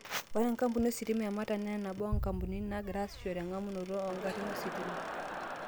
Ore enkapuni ositima e Meta naa nabo oongampunini naagira aitasioyo engamunoto oogarin ositima.